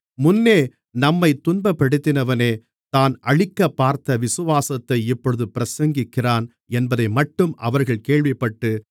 முன்னே நம்மைத் துன்பப்படுத்தினவனே தான் அழிக்கப்பார்த்த விசுவாசத்தை இப்பொழுது பிரசங்கிக்கிறான் என்பதைமட்டும் அவர்கள் கேள்விப்பட்டு